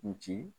N ci